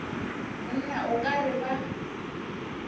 monna o ka re ba